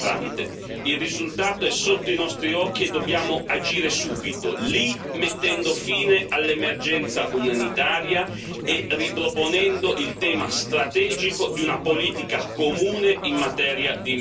Il risultato è sotto i nostri occhi e dobbiamo agire subito lì, mettendo fine all'emergenza umanitaria e riproponendo il tema strategico di una politica comune in materia di immigrazione.